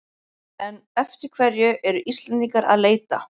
En eftir hverju eru Íslendingar að leita?